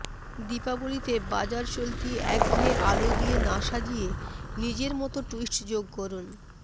দীপাবলিতে বাজারচলতি একঘেয়ে আলো দিয়ে না সাজিয়ে নিজের মতো টুইস্ট যোগ করুন